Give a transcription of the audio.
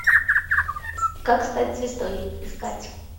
как стать звездой искать